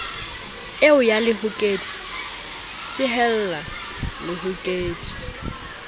eo ya lehokedi sehella lehokedi